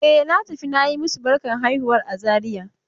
E, na tafi na yi masu barkan haihuwar a Zariya.